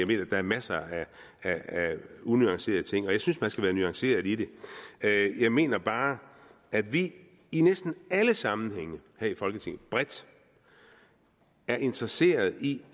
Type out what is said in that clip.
mener der er masser af unuancerede ting og jeg synes man skal være nuanceret i det jeg mener bare at vi i næsten alle sammenhænge her i folketinget bredt er interesseret i